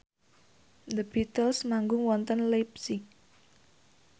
The Beatles manggung wonten leipzig